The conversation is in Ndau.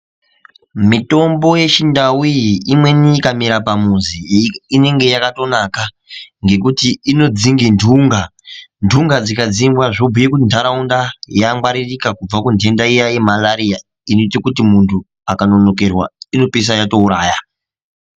Mitombo yechindau iyi imweni ikamera pamuzi inenge yakatonaka ngekuti inodzinge ndunga ndunga dzikadzingwa zvobhuye kuti ntharaunda yangwaririka kubva kundenda iya yemarariya inoite kuti munthu akanonokerwa inopeisira yatouraya.